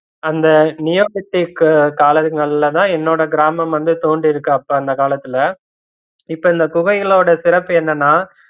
அந்த neolithic காலங்கள்லதான் என்னோட கிராமம் வந்து தோன்றிருக்கு அப்ப அந்த காலத்துல இப்போ இந்த குகைகளோட சிறப்பு என்னன்னா